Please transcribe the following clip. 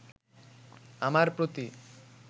আমার প্রতি